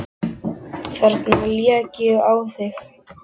Þarna lék ég á þig!